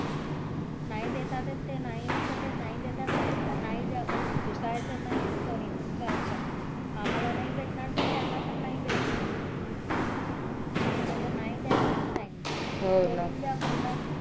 नाही देतात ये नाही विकत येत नाही देतात ये पेक्षा नाही द्या पण विकाचा नाही च कोणी काय पण आम्हला नाही भेटणार ये ता त्याना पण नाही भेटणार ये हे बोल नाही दयाचेत sign